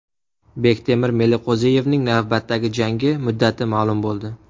Bektemir Meliqo‘ziyevning navbatdagi jangi muddati ma’lum bo‘ldi.